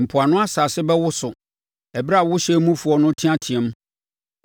Mpoano asase bɛwoso ɛberɛ a wo hyɛn mufoɔ no reteateam.